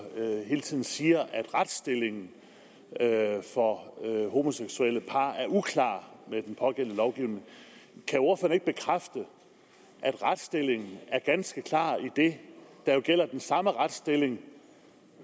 hele tiden siger at retsstillingen for homoseksuelle par er uklar i den pågældende lovgivning kan ordføreren ikke bekræfte at retsstillingen er ganske klar idet der jo gælder samme retsstilling